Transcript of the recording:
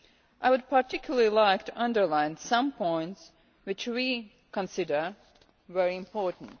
I would particularly like to underline some points which we consider very important.